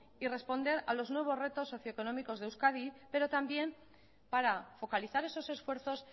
y responder a los nuevos retos socioeconómicos de euskadi pero también para focalizar esos esfuerzos